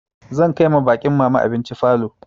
Zan kai ma baƙin mama abinci falo.